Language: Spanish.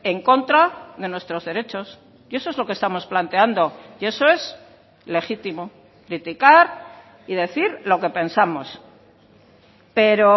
en contra de nuestros derechos y eso es lo que estamos planteando y eso es legítimo criticar y decir lo que pensamos pero